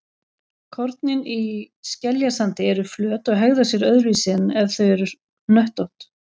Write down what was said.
Kornin í skeljasandi eru flöt og hegða sér öðruvísi en ef þau væru hnöttótt.